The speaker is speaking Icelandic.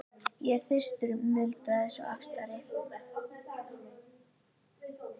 Ég er þyrstur muldraði sá aftari.